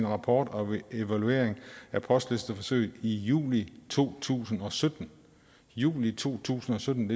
rapport og evaluering af postlisteforsøget i juli to tusind og sytten juli to tusind og sytten